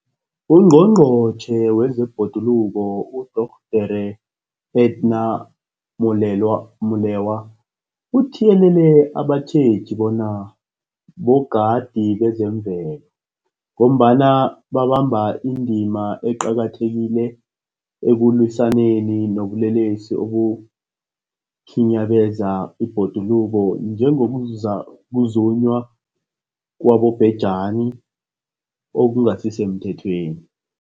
UNgqongqotjhe wezeBhoduluko uDorh Edna Molewa uthiyelele abatjheji bona bogadi bezemvelo, ngombana babamba indima eqakathekileko ekulwisaneni nobulelesi obukhinyabeza ibhoduluko, njengokuzunywa kwabobhejani okungasisemthethweni.